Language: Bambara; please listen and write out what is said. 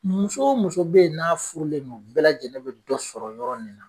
Muso o muso be yen n'a furu len do de bɛɛ lajɛlen be dɔ sɔrɔ yɔrɔ nin na